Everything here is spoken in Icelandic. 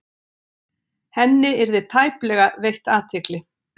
Henni yrði tæplega veitt athygli.